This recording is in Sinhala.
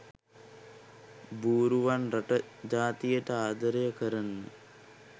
බූරුවන් රට ජාතියට ආදරය කරන